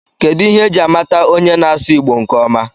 Kedụ ihe eji a mata onye na-asụ Igbo nkeọma?